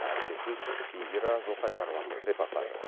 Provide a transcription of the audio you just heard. әріптесім индира жылқайдарованың репортажы